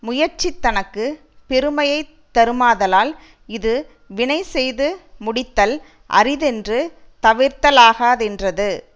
முயற்சி தனக்கு பெருமையை தருமாதலால் இது வினைசெய்து முடித்தல் அரிதென்று தவிர்தலாகாதென்றது